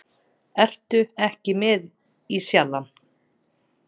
Ertu ekki með í Sjallann?